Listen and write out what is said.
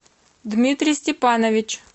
дмитрий степанович